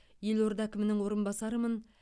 елорда әкімінің орынбасарымын